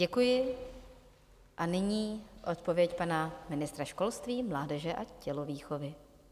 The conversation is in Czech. Děkuji a nyní odpověď pana ministra školství, mládeže a tělovýchovy.